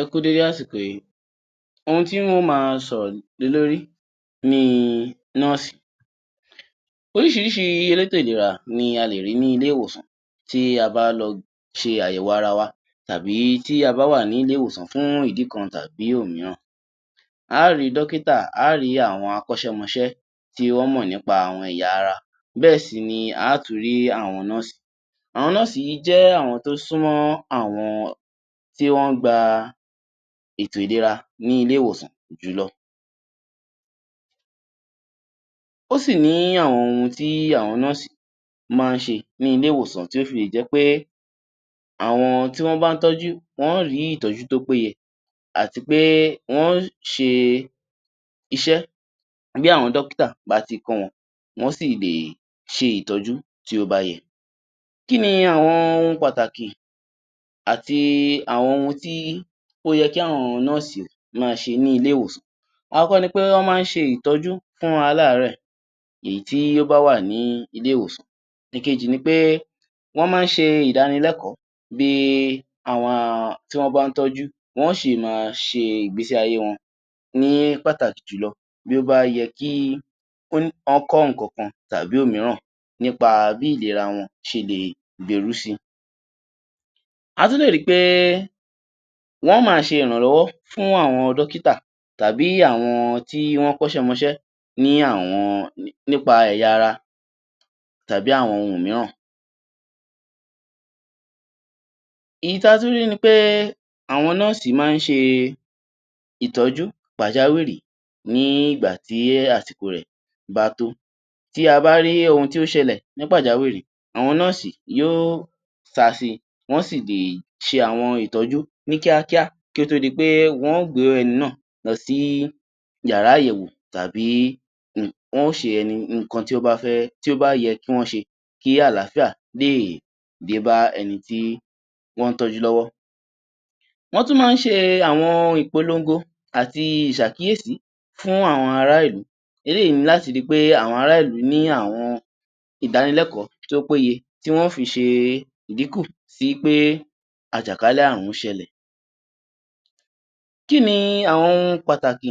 Ẹ kú u dédé àsìkò yìí, ohun tí ń ó máa sọ̀rọ̀ lé lórí ni nọ́ọ̀sì. Oríṣìíríṣìí elétò ìlera ni a lè rí ní ilé-ìwòsàn tí a bá lọ ṣe àyẹ̀wò ara wa, tàbí tí a bá wà ní ilé-ìwòsàn fún ìdí kan tàbí òmíràn. A á rì í dọ́kítà, a á rì í àwọn akọ́ṣẹ́-mọṣẹ́ tí wọ́n mọ̀ nípa àwọn ẹ̀yà ara. Bẹ́ẹ̀ sì ni a á tún rí àwọn nọ́ọ̀sì. Àwọn nọ́ọ̀sì yìí jẹ́ àwọn tó súnmọ́ àwọn tí wọ́n ń gba ètò-ìlera ní ilé-ìwòsàn jùlọ. Ó sì ní àwọn ohun tí àwọn nọ́ọ̀sì yìí máa ń ṣe ní ilé-ìwòsàn tí ó fi lè jẹ́ pé àwọn tí wọ́n bá ń tọ́jú, wọ́n ó rí ìtọ́jú tó péye àti pé wọ́n ó ṣe iṣẹ́ bí àwọn dọ́kítà bá ti kọ́ wọn, wọ́n sì lè ṣe ìtọ́jú tí ó bá yẹ. Kí ni àwọn ohun pàtàkì, àti àwọn ohun tí ó yẹ kí àwọn nọ́ọ̀sì máa ṣe ní ilé-ìwòsàn? Àkọ́kọ́ ni pé wọ́n máa ń ṣe ìtọ́jú fún aláàárẹ̀, èyí tí ó bá wà ní ilé-ìwòsàn. Ìkejì ni pé, wọ́n máa ń ṣe ìdánilẹ́kọ̀ọ́, bí àwọn tí wọ́n bá ń tọ́jú, wọ́n ó ṣe máa ṣe ìgbésí ayé wọn. Ní pàtàkì jùlọ, bí ó bá yẹ kí wọ́n kọ́ nǹkankan tàbí òmíràn nípa bí ìlera wọn ṣe lè gbèrú sí. A tún lè ri pé wọ́n ó máa ṣe ìrànlọ́wọ́ fún àwọn dọ́kítà tàbí àwọn tí wọ́n kọ́ṣẹ́-mọṣẹ́ ní àwọn nípa ẹ̀yà-ara tàbí àwọn ohun mìíràn. Èyí tí a tún rí ni pé àwọn nọ́ọ̀sì máa ń ṣe ìtọ́jú pàjáwìrì ní ìgbà tí àsìkò rẹ̀ bá tó. Tí a bá rí ohun tí ó ṣẹlẹ̀ ní pàjáwìrì, àwọn nọ́ọ̀sì yóó sá sí i, wọ́n sì lè ṣe àwọn ìtọ́jú ní kíákíá kí ó tó di pé wọ́n ó gbé ẹni náà lọ sí ìyàrá-àyẹ̀wò tàbí wọ́n ó ṣe ẹni nǹkan tí ó bá fẹ́, tí ó bá yẹ kí wọ́n ṣe, kí àlàáfíà lè dé bá ẹni tí wọ́n ń tọ́jú lọ́wọ́. Wọ́n tún máa ń ṣe àwọn ìpolongo àti ìṣàkíyèsí fún àwọn ará-ìlú. Eléyìí ni láti ri pé àwọn ará-ìlú ní àwọn ìdánilẹ́kọ̀ọ́ tó péye, tí wọ́n ó fi ṣe ìdínkù sí pé àjàkálẹ̀-àààrùn ṣẹlẹ̀. Kí ni àwọn ohun pàtàkì,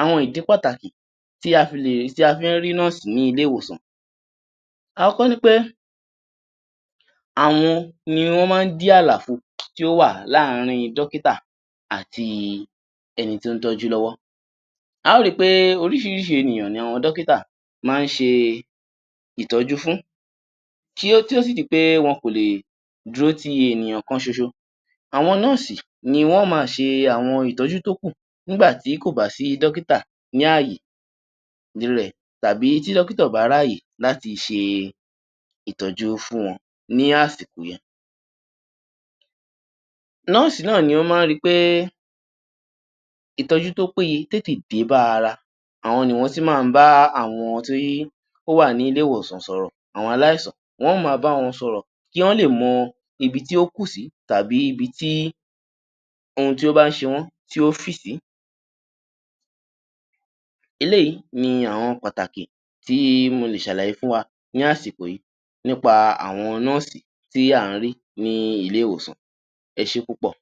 àwọn ìdí pàtàkì tí a fi lè, tí a fi ń rí nọ́ọ̀sì ní ilé-ìwòsàn? Àọ́kọ́ ni pé àwọn ni wọ́n máa ń dí àlàfo tí ó wà láàrin dọ́kítà àti ẹni tí ó ń tójú lọ́wọ́. A ó ri pé oríṣìíríṣìí ènìyàn ni àwọn dọ́kítà máa ń ṣe ìtọ́jú fún, kí ó tí ó sì di pé wọn kò lè dúró ti ènìyàn kan ṣoṣo. Àwọn nọ́ọ̀sì ni wọ́n ó máa ṣe àwọn ìtọ́jú tó kù nígbà tí kò bá sí dọ́kítà ní ààyè rẹ̀, tàbí tí dọ́kítà ò bá ráàyè láti ṣe ìtọ́jú fún wọn ní àsìkò yen. Nọ́ọ̀sì náà ni wọ́n máa ń ri pé ìtọ́jú tó peyé tètè dé bá ara. Àwọn ni wọ́n sì máa ń bá àwọn tí ó wà ní ilé-ìwòsàn sọ̀rọ̀. Àwọn aláìsàn, wọ́n ó máa bá wọn sọ̀rọ̀ kí wọ́n lè mọ ibi tí ó kù sí tàbí ibi tí ohun tí ó bá ń ṣe wọ́n, tí ó fì sí. Eléyìí ni àwọn pàtàkì tí mo lè ṣàlàyé fún wa ní àsìkò yìí nípa àwọn nọ́ọ̀sì tí à ń rí ní ilé-ìwòsàn. Ẹ ṣé púpọ̀!